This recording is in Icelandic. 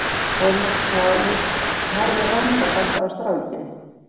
Thomas hváði og horfði rannsakandi á strákinn.